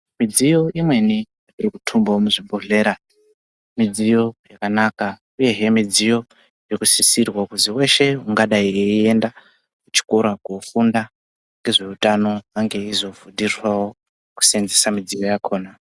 Midziyo imweni irikutumbavo muzvibhedhlera midziyo yakanaka, uyehe midziyo irikusisirwa kuzi veshe ungadai eienda kuchikora kunofunda ngezveutano, ange eizofundiswavo kusenzesa midziyo yakona.